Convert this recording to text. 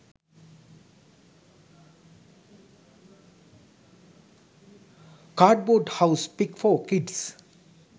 cardboard house pic for kids